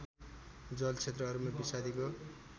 जलक्षेत्रहरूमा विषादीको